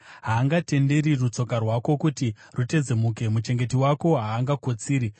Haangatenderi rutsoka rwako kuti rutedzemuke, muchengeti wako haangakotsiri;